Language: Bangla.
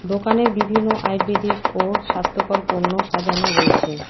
দোকানের বিভিন্ন আয়ুর্বেদিক ও স্বাস্থ্যকর পণ্য সাজানো রয়েছে।